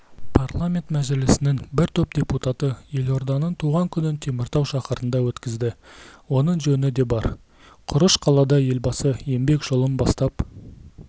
парламент мәжілісінің бір топ депутаты елорданың туған күнін теміртау шаһарында өткізді оның жөні де бар құрыш қалада елбасы еңбек жолын бастап